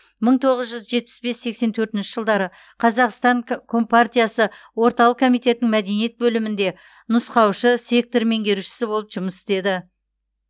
мың тоғыз жүз жетпіс бес сексен төртінші жылдары қазақстан ка ком партиясы орталық комитетінің мәдениет бөлімінде нұсқаушы сектор меңгерушісі болып жұмыс істеді